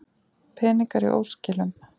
Peningar í óskilum